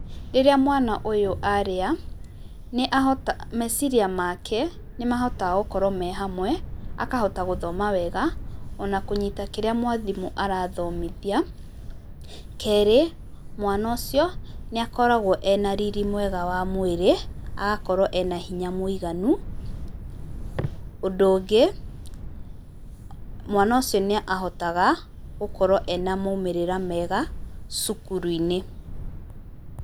Rĩrĩa mwana ũyũ arĩa, meciria make nĩ mahotaga gũkorwo me hamwe, akahota gũthoma wega o na kũnyita kĩrĩa mwarĩmũ arathomithia. Kerĩ, mwana ũcio nĩ akoragwo ena riri mwega wa mwĩrĩ, agakorwo ena hinya mũiganu. Ũndũ ũngĩ, mwana ũcio nĩ ahotaga gũkorwo ena maumĩrĩra mega cukuru-inĩ.